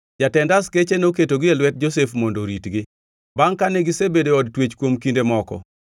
Jatend askeche noketogi e lwet Josef mondo oritgi. Bangʼ kane gisebedo e od twech kuom kinde moko,